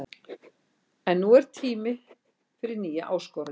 En nú er tími fyrir nýja áskorun.